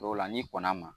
O la n'i kɔnna a ma